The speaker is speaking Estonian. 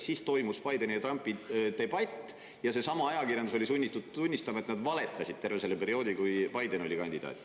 Siis toimus Bideni ja Trumpi debatt ja seesama ajakirjandus oli sunnitud tunnistama, et nad valetasid terve selle perioodi, kui Biden oli kandidaat.